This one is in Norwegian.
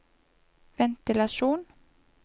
ventilasjon